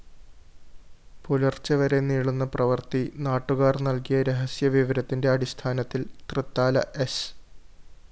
പുലര്‍ച്ചെവരെ നീളുന്ന പ്രവര്‍ത്തി നാട്ടുകാര്‍ നല്‍കിയ രഹസ്യവിവരത്തിന്റെ അടിസ്ഥാനത്തില്‍ തൃത്താലഎസ്